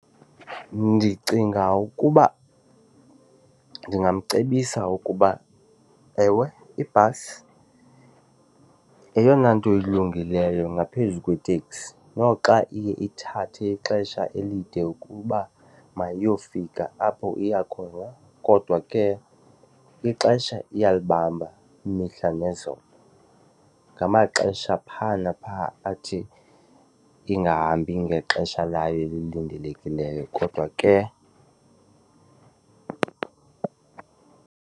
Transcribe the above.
Ndicinga ukuba ndingamcebisa ukuba, ewe, ibhasi yeyona nto ilungileyo ngaphezu kwetekisi noxa iye ithathe ixesha elide ukuba mayiyofika apho iya khona, kodwa ke ixesha iyalibamba imihla nezolo. Ngamaxesha phaa napha athi ingahambi ngexesha layo elilindelekileyo kodwa ke.